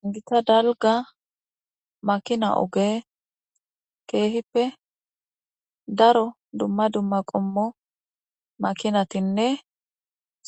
Hayissa dalga makina oge kehippe daro dumma dumma qommo makinatinne